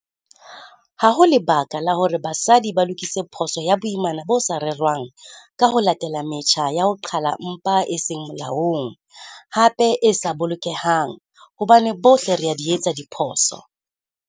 Ha ho lebaka la hore basadi ba lokise phoso ya boimana bo sa rerwang ka ho latela metjha ya ho qhala mpha e seng molaong, hape e sa bolokehang, hobane bohle re a di etsa diphoso.